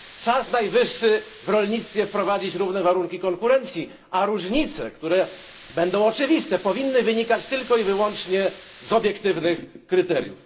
Czas najwyższy w rolnictwie wprowadzić równe warunki konkurencji, a różnice które będą oczywiste powinny wynikać tylko i wyłącznie z obiektywnych kryteriów.